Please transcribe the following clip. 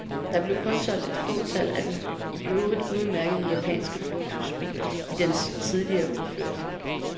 Der blev kun solgt et fåtal af den i øvrigt udmærkede japanske luksusbil i dens tidligere udførelse.